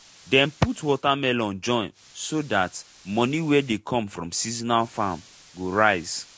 dem put watermelon join so dat moni wey dey come from seasonal farm go rise